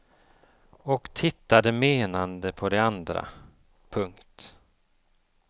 Och tittade menande på de andra. punkt